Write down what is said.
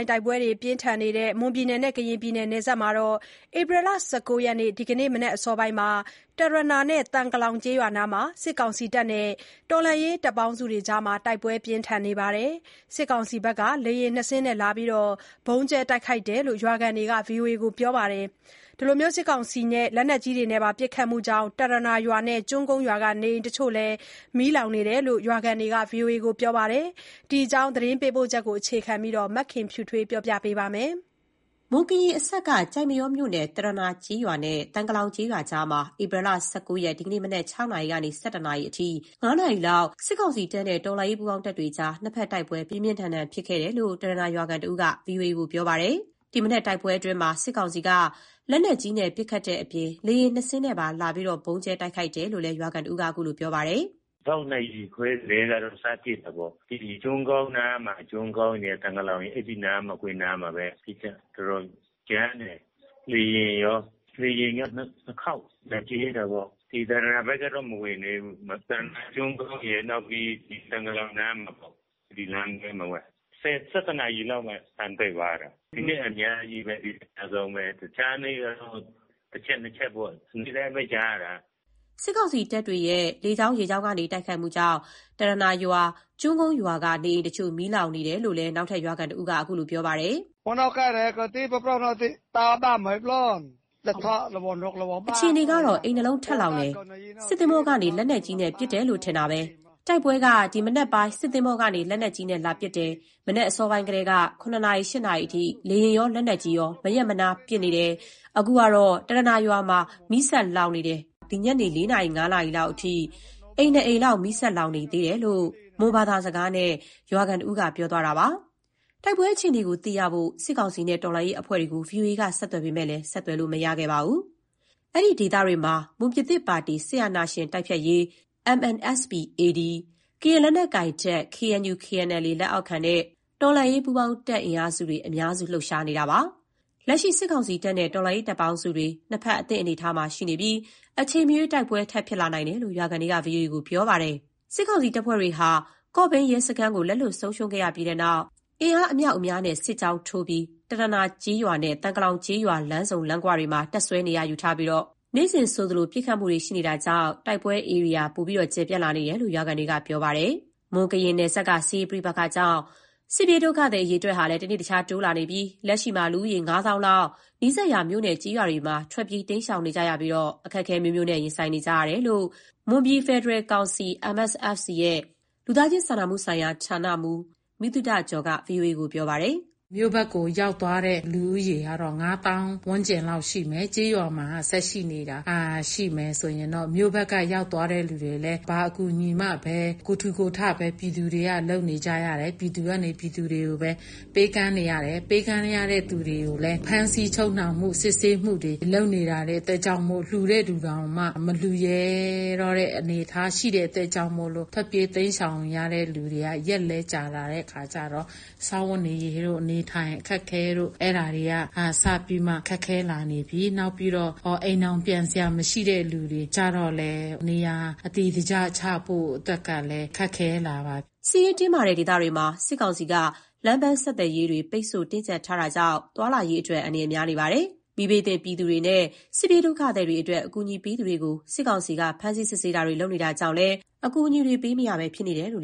က်တိုက်ပွဲပြင်းထန်နေတဲ့ မွန်-ကရင်နယ်စပ်မှာ ဧပြီ ၁၉ ရက် ဒီကနေ့ မနက်အစောပိုင်းက တရနာနဲ့ သံကလောင်ကျေးရွာကြားမှာ စစ်ကောင်စီနဲ့ တော်လှန်ရေးတပ်ပေါင်းစုတွေအကြား တိုက်ပွဲပြင်းထန်နေပြီး စစ်ကောင်စီဘက်က လေယာဉ် ၂စင်းလာပြီး ဗုံးကြဲ တိုက်ခိုက် နေတယ်လို့ ရွာခံတွေက ဗွီအိုအေကို ပြောပါတယ်။ စစ်ကောင်စီရဲ့ လက်နက်ကြီးပစ်ခတ်မှုကြောင့် တရနာရွာနဲ့ ကျွန်းကုန်းရွာက နေအိမ်တချို့ မီးလောင်ခဲ့တယ်လို့လည်း ရွာခံတွေက ဗွီအိုအေကို ပြောပါတယ်။ ဒီအကြောင်း သတင်းပေးပို့ချက်ကို အခြေခံပြီး မခင်ဖြူထွေးက တင်ပြပေးပါမယ်။ မွန်-ကရင်အစပ်က ကျိုက်မရောမြို့နယ် တရနာကျေးရွာနဲ့ သံကလောင်ကျေးရွာကြားမှာ ဧပြီလ ၁၉ ရက် ဒီကနေ့ မနက် ၆နာရီကနေ ၁၁နာရီအထိ ၅နာရီကြား စစ်ကောင်စီတပ်နဲ့ တော်လှန်ရေး ပူးပေါင်းတပ်တွေအကြား နှစ်ဖက် တိုက်ပွဲပြင်းထန်စွာ ဖြစ်ပွားနေတယ်လို့ တရနာ ရွာခံတစ်ဦးက ဗွီအိုအေကို ပြောပါတယ်။ ဒီမနက် တိုက်ပွဲအတွင်းမှာ စစ်ကောင်စီက လက်နက်ကြီးနဲ့ ပစ်ခတ်တဲ့အပြင် လေယာဉ် ၂စင်းနဲ့ပါ လာရောက် ဗုံးကြဲ တိုက်ခိုက်တဲ့အကြောင်း ရွာခံတဦးက ခုလို ပြောပါတယ်။ “ ၆နာရီခွဲကတည်းက စဖြစ်တာပေါ့၊ ဒီ ကျွန်းကုန်းအနားမှာ။ ကျွန်းကုန်းရယ် သံကလောင်ရယ် အဲ့နားတခွင်မှာပဲ ပစ်ခတ်တော်တော်ကြမ်းတယ်။ လေယာဉ်ရော ၊ လေယာဉ်က နှစ်ခေါက်လာကြဲတာပေ့ါ။ ဒီတရနာဘက်ကတော့ မဝင်သေးဘူး၊ တရနာကျွန်းကုန်းရယ် နောက်ပြီး သံကလောင် နားမှာပေ့ါ၊ အဲ့ဒီလမ်းထဲမှာပဲ ။ ၁၁နာရီလောက်မှ အသံတိတ်သွားတယ်။ ဒီနေ့ အများဆုံးပဲ။ တခြားနေ့ကတော့ တစ်ချက် နှစ်ချက်ပေါ့၊ နေ့တိုင်းပဲကြားရတာ။” စစ်ကောင်စီတပ်တွေရဲ့ လေကြောင်း၊ ရေကြောင်းကနေ တိုက်ခိုက်မှုကြောင့် တရနာရွာ၊ ကျွန်းကုန်းရွာက နေအိမ်တချို့ မီးလောင်ကျွမ်းနေတယ်လို့ နောက်ထပ်ရွာခံတဦးကလည်း အခုလို ပြောပါတယ်။ “ဒီအခြေအနေကတော့ အိမ် ၂လုံးထပ်လောင်တယ်။ စစ်သင်္ဘောကနေ လက်နက်ကြီးပစ်လို့ထင်တယ်။ တိုက်ပွဲက မနက်က စစ်သင်္ဘောကနေ လက်နက်ကြီးပစ်လာတယ်၊ မနက်အစောပိုင်းကတည်းက ၇နာရီ ၈နာရီအထိ လေယာဉ်ရော လက်နက်ကြီးရော မနားမရပ်ပစ်နေတယ်။ အခုကတော့ တရနာရွာမှာ ဆက်လောင်နေတယ် တစ်အိမ် နှစ်အိမ် မီးလောင်ကျွမ်းနေတုန်းပဲ၊ ညနေ ၄နာရီကနေ အခု ၅နာရီအထိ လောင်နေတုန်းပဲ” - လို့ မွန်ဘာသာနဲ့ ပြောဆိုသွားတာပါ။ တိုက်ပွဲအခြေအနေကို သိရဖို့ စစ်ကောင်စီနဲ့ တော်လှန်ရေးအဖွဲ့တွေကို ဗွီအိုအေက ဆက်သွယ်ပေမဲ့ ဆက်သွယ်လို့ မရခဲ့ပါဘူး။ အဲ့ဒီဒေသတွေမှာ မွန်ပြည်သစ်ပါတီ NMSP-AD၊ ကရင်လက်နက်ကိုင်တပ် KNU/KNLA လက်အောက်ခံနဲ့ တော်လှန်ရေးတပ်ပေါင်းစုတွေ အများစု လှုပ်ရှားနေတာပါ။ လက်ရှိ စစ်ကောင်စီတပ်နဲ့ တော်လှန်ရေးတပ်ပေါင်းစုတွေ နှစ်ဖက် အသင့်အနေအထားမှာ ရှိနေပြီး အချိန်မရွေး တိုက်ပွဲထပ်ဖြစ်လာနိုင်တယ်လို့ ရွာခံတွေက ဗွီအိုအေကို ပြောပါတယ်။ စစ်ကောင်စီတပ်ဟာ ကော့ဘိန်းရဲစခန်းကို လက်လွှတ်ဆုံးရှုံးပြီးတဲ့နောက် အင်အားအမြောက်အများနဲ့ စစ်ကြောင်းထိုးပြီး တရနာကျေးရွာနဲ့ သံကလောင်ကျေးရွာ လမ်းဆုံလမ်းခွမှာ တပ်စွဲနေရာယူထားပြီး နေ့စဉ်ဆိုသလို ပစ်ခတ်မှုတွေ ရှိနေတာကြောင့် တိုက်ပွဲဧရိယာတွေလည်း ကျယ်ပြန့်လာနေတယ်လို့ ရွာခံတွေက ပြောဆိုပါတယ်။ မွန်-ကရင် နယ်စပ်က စစ်ရေးပဋိပက္ခကြောင့် တနေ့တခြား စစ်ပြေးဒုက္ခသည် အရေအတွက် တိုးလာနေပြီး လက်ရှိမှာ လူဦးရေ ငါးသောင်းလောက်ဟာ နီးစပ်ရာ မြို့နဲ့ ကျေးရွာတွေဘက်မှာ ထွက်ပြေးတိမ်းရှောင်နေရပြီး အခက်အခဲ မျိုးစုံနဲ့ ရင်ဆိုင်နေကြရတယ်လို့ မွန်ပြည်ဖယ်ဒရယ်ကောင်စီ ရဲ့ လူသားချင်းစာနာမှု ဌာနမှူး မိသုတဂျော် က ဗွီအိုအေကို ပြောပါတယ်။ “မြို့ဘက်ကို ရောက်သွားတဲ့ လူဦးရေကတော့ ငါးသောင်းဝန်ကျင်းလောက် ရှိမယ်။ ကျေးရွာမှာ ဆက်ရှိနေတာရှိမယ်။ မြို့ဘက်က ရောက်သွားတဲ့လူတွေလည်း ဘာအကူအညီမှမရဘဲ၊ ကိုယ်ထူကိုယ်ထဘဲ ပြည်သူတွေက လုပ်နေကြရတယ်။ ပြည်သူကနေ ပြည်သူတွေကိုပဲ ပေးကမ်းနေရတယ်။ ပေးကမ်းနေတဲ့ သူတွေလည်း ဖမ်းဆီးချုပ်နှောင်မှု စစ်ဆေးမှုတွေ လုပ်နေတဲ့အတွက်ကြောင့်မို့ လှူတဲ့သူတောင်မှ မလှူရဲတော့တဲ့အနေအထား ရှိတဲ့အတွက်ကြောင့်မို့လို့ ထွက်ပြေးတိမ်းရှောင်နေရတဲ့လူက ရက်လည်း ကြာလာတဲ့အခါကျတော့ စားဝတ်နေရေးတို့၊ အနေအထိုင်အခက်တို့ အဲ့ဒါတွေက စပြီးမှ ခက်ခဲလာနေပြီး၊ နောက်ပြီးတော့ အိမ်တောင်ပြန်စရာမရှိတော့တဲ့ လူတွေကျတော့လည်း နေရာအတည်တကျ ချဖို့အတွက်ကလည်း ခက်ခဲလာပါပြီ။” စစ်ရေးတင်းမာတဲ့ ဒေသတွေမှာ စစ်ကောင်စီက လမ်းပန်းဆက်သွယ်ရေးတွေ ပိတ်ဆို့ တင်းကြပ်ထားတာကြောင့် သွားလာရေးအတွက် အန္တရာယ် များနေပါတယ်။ မီးဘေးသင့် ပြည်သူတွေနဲ့ စစ်ပြေးဒုက္ခသည်တွေအတွက် အကူအညီပေးသူတွေကို စစ်ကောင်စီက ဖမ်းဆီးစစ်ဆေးမှု လုပ်နေတာကြောင့်လည်း အကူအညီမပေးရဲဘဲ ဖြစ်နေကြတယ်လို့